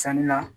Sani la